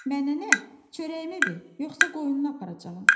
Mənə nə, çörəyimi ver, yoxsa qoyunu aparacağam.